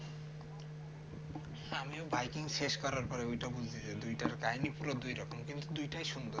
আমিও by king শেষ করার পরে ওইটা বুঝতেছি দুইটার কাহিনী পুরো দুই রকম কিন্তু দুইটাই সুন্দর